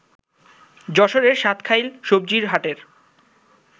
যশোরের সাতখাইল সবজির হাটের